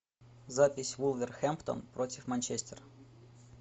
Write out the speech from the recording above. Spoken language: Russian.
запись вулверхэмптон против манчестер